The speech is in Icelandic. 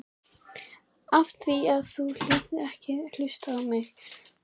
Af því að þú vildir ekki hlusta á mig!